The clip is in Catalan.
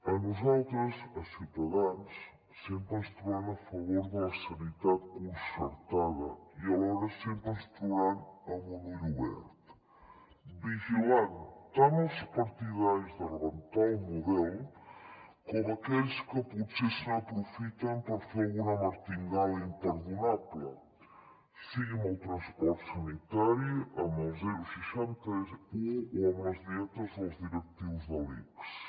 a nosaltres a ciutadans sempre ens trobaran a favor de la sanitat concertada i alhora sempre ens trobaran amb un ull obert vigilant tant els partidaris de rebentar el model com aquells que potser se n’aprofiten per fer alguna martingala imperdonable sigui amb el transport sanitari amb el seixanta un o amb les dietes dels directius de l’ics